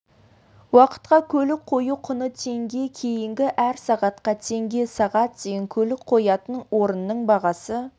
уақытқа көлік қою құны теңге кейінгі әр сағатқа теңге сағат дейін көлік қоятын орынның бағасы